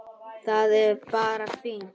Það er bara fínt!